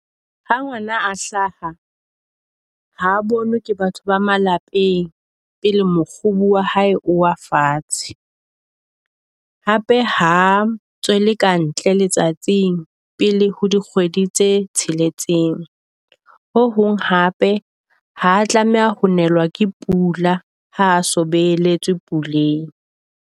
Ha ngwana a hlaha ha bonwe ke batho ba malapeng pele mokgubu wa hae o wa fatshe. Hape ha tswe le kae ntle letsatsing pele ho di kgwedi tse tsheletseng. Ho hong hape ha tlameha ho nelwa ke pula, ha a so beletswe puleng.